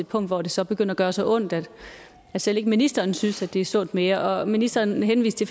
punkt hvor det så begynder at gøre så ondt at selv ikke ministeren synes at det er sundt mere ministeren henviste